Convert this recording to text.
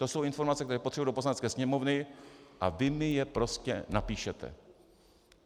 To jsou informace, které potřebuji do Poslanecké sněmovny, a vy mi je prostě napíšete."